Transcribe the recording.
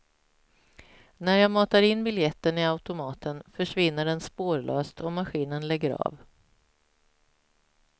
När jag matar in biljetten i automaten försvinner den spårlöst och maskinen lägger av.